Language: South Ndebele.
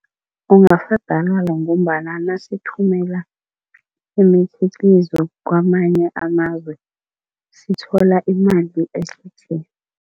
Ngombana nasithumela imikhiqizo kwamanye amazwe, sithola imali ehle tle.